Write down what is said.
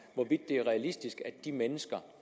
hvorvidt det er realistisk at de mennesker